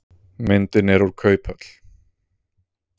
Myndin er úr kauphöll.